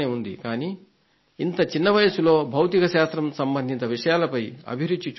కానీ ఇంత చిన్న వయసులో భౌతికశాస్త్రం సంబంధిత విషయాలపై అభిరుచి చూశాను